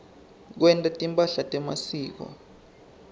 kwenta timphahla temasiko